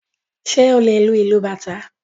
Ṣé o lè lu ìlú bàtá?